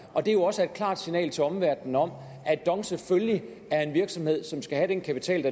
det er jo også et klart signal til omverdenen om at dong selvfølgelig er en virksomhed som skal have den kapital